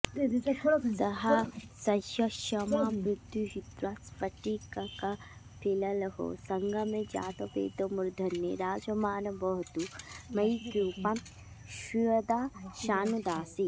सह्यक्ष्माभृद्दुहित्रास्फटिककपिललोः सङ्गमे जातवेदो मूर्धन्ये राजमानो वहतु मयि कृपां स्वीयदासानुदासे